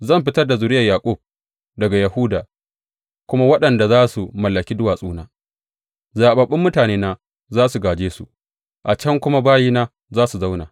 Zan fitar da zuriyar Yaƙub, daga Yahuda kuma waɗanda za su mallaki duwatsuna; zaɓaɓɓun mutanena za su gāje su, a can kuma bayina za su zauna.